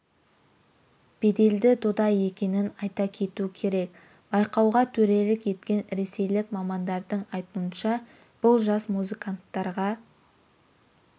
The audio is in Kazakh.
беделді дода екенін айта кету керек байқауға төрелік еткен ресейлік мамандардың айтуынша бұл жас музыканттарға